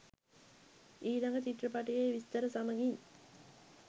ඊළඟ චිත්‍රපටයේ විස්තර සමගින්